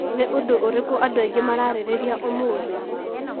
Nĩ ũndũ ũrĩkũ andũ aingĩ mararereria ũmũthĩ?